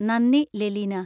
നന്ദി, ലെലീന.